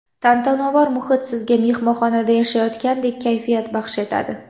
Tantanavor muhit sizga mehmonxonada yashayotgandek kayfiyat baxsh etadi.